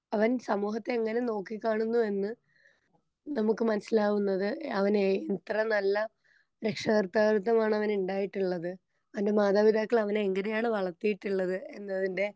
അവൻ സമൂഹത്തെ എങ്ങനെ നോക്കി കാണുന്നു എന്ന് നമുക്ക് മനസ്സിലാവുന്നത് അവന് എത്ര നല്ല രക്ഷാകർത്താകൃത്വമാണവനുണ്ടായിട്ടുള്ളത് അവന്റെ മാതാപിതാക്കളവനെ എങ്ങനെയാണ് വളർത്തീള്ളത് എന്നതിന്റെ.